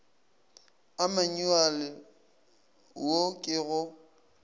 a manyuale wo ke go